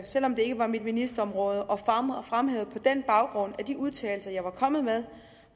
selv om det ikke var mit ministerområde og fremhævede på den baggrund at de udtalelser jeg var kommet med